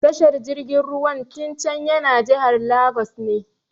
Tashar jirgin ruwan Tincan yana jihar Lagos ne.